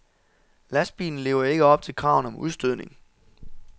Lastbilen lever ikke op til kravene om udstødning.